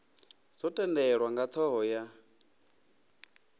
dzo tendelwa nga thoho ya